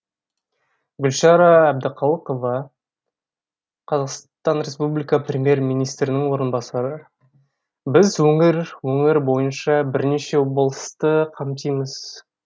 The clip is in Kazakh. гүлшара әбдіқалықова қр премьер министрінің орынбасары біз өңір өңір бойынша бірнеше облысты қамтимыз